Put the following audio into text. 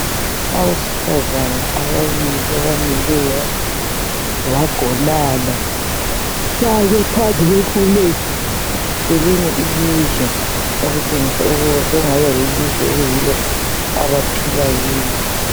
Abesifazana ababili abamileyo bagonana bami phambi kwefulegi yelinye ilizwe okutshengisa ukuba sekungani yelizwe okuyilo abaphila kilo.